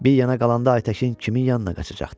Bir yana qalanda Aytəkin kimin yanına qaçacaqdı?